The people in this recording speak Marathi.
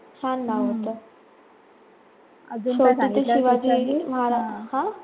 छान नाव होतं. शेवटी ते शिवाजी महाराज हा